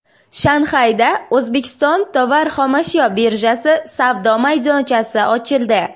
Shanxayda O‘zbekiston tovar xomashyo birjasi savdo maydonchasi ochildi.